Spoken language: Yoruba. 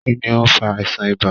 Kínní o n fà àìsàn ibà?.